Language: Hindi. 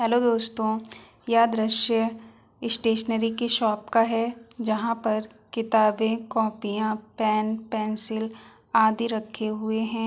हेलो दोस्तों यह दृश्य स्टेशनरी की शॉप का है जहाँ पर किताबें कॉपियां पेन पेंसिल आदि रखे हुए है।